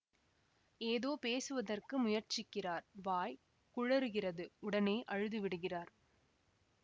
ஏதோ பேசுவதற்கு முயற்சிக்கிறார் வாய் குழறுகிறது உடனே அழுது விடுகிறார்